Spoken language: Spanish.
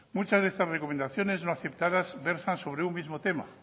muchas de estas recomendaciones no aceptadas versan sobre un mismo tema